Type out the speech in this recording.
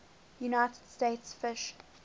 united states fish